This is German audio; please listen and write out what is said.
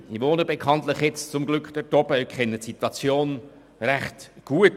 Ich wohne bekanntlich jetzt zum Glück dort oben und kenne die Situation recht gut.